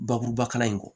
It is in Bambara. Bakuruba kalan in kɔ